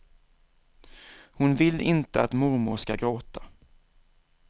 Hon vill inte att mormor skall gråta.